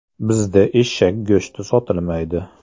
Bizda eshak go‘shti sotilmaydi.